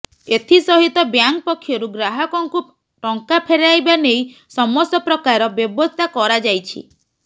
ଏଥିସହିତ ବ୍ୟାଙ୍କ ପକ୍ଷରୁ ଗ୍ରାହକଙ୍କୁ ଟଙ୍କା ଫେରାଇବା ନେଇ ସମସ୍ତ ପ୍ରକାର ବ୍ୟବସ୍ଥା କରାଯାଇଛି